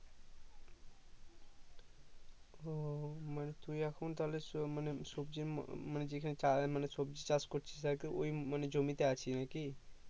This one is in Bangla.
ও ও মানে তুই এখন তাহলে মানে সবজি মানে যেখানে চাষ মানে সবজি চাষ করছিস আর কি ওই মানে জমিতে আছি নাকি